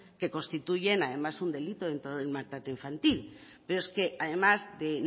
que constituyen además un delito en todo el maltrato infantil pero es que además de